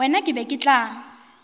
wena ke be ke tla